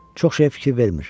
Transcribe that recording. Çox şeyə fikir vermir.